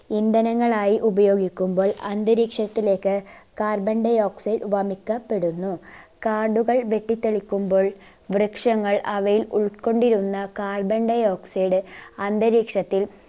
ഇന്ധനങ്ങളായി ഉപയോഗിക്കുമ്പോൾ അന്തരീക്ഷത്തിലേക്ക് carbon dioxide വമിക്കപെടുന്നു കാടുകൾ വെട്ടി തെളിക്കുമ്പോൾ വൃക്ഷങ്ങൾ അവയിൽ ഉൾക്കൊണ്ടിരുന്ന carbon dioxide അന്തരീക്ഷത്തിൽ